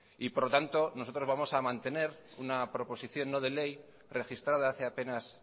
por lo tanto nosotros vamos a mantener una proposición no de ley registrada hace apenas